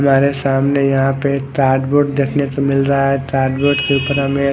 हमारे सामने यहा पे कार्बोअर्द देखने को मिल रहा है कार्द्बोअर्द के उपर हमे --